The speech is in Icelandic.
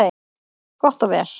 Gott og vel,